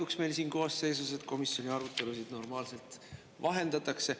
See on siin koosseisus erandlik, et komisjoni arutelusid normaalselt vahendatakse.